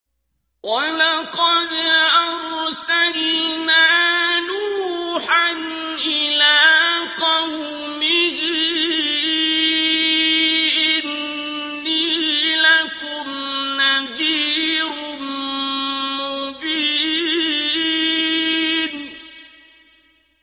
وَلَقَدْ أَرْسَلْنَا نُوحًا إِلَىٰ قَوْمِهِ إِنِّي لَكُمْ نَذِيرٌ مُّبِينٌ